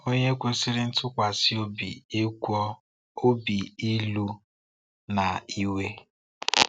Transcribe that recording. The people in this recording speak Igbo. Onye kwesịrị ntụkwasị obi ịgwọ obi ílú na iwe.